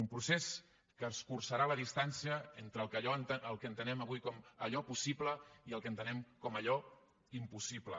un procés que escurçarà la distància entre el que entenem avui com allò possible i el que entenem com allò impossible